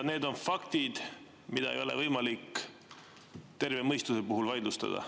Need on faktid, mida ei ole võimalik terve mõistuse puhul vaidlustada.